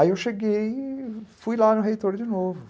Aí eu cheguei e fui lá no reitor de novo.